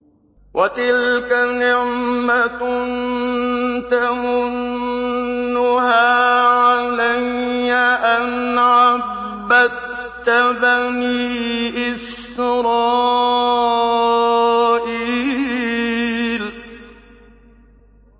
وَتِلْكَ نِعْمَةٌ تَمُنُّهَا عَلَيَّ أَنْ عَبَّدتَّ بَنِي إِسْرَائِيلَ